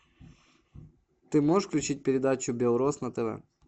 ты можешь включить передачу белрос на тв